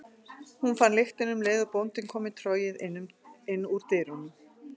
Hún fann lyktina um leið og bóndinn kom með trogið inn úr dyrunum.